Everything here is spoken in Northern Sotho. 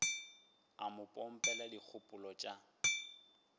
o mo pompela dikgopolo tša